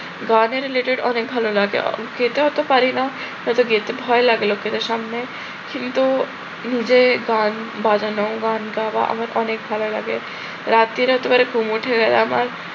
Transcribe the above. গানের related অনেক ভালো লাগে। গেতে হয়তো পারি না হয়তো গেতে ভয় লাগে লোকজনের সামনে কিন্তু নিজে গান বাজানো গান গাওয়া আমার অনেক লাগে। রাত্রিরে একেবারে ঘুম উঠে যাওয়া আমার